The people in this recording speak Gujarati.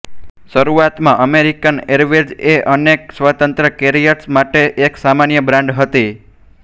શરૂઆતમાં અમેરિકન એરવેઝ એ અનેક સ્વતંત્ર કેરિયર્સ માટે એક સામાન્ય બ્રાન્ડ હતી